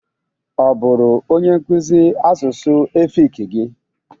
Ọ bụru onyenkụzị asụsụ efik gị?